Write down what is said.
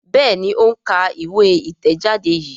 Béèni o ń ká ìwé itẹjade yí.